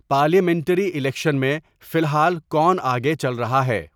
Parliamentary election میں فی لحال کون آگے چل رہا ہے؟